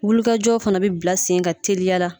Wulikajɔw fana bi bila sen kan teliya la